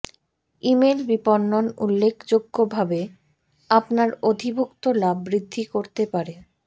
email বিপণন উল্লেখযোগ্যভাবে আপনার অধিভুক্ত লাভ বৃদ্ধি করতে পারে